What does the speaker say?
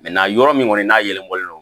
yɔrɔ min kɔni n'a yɛlɛbɔlen don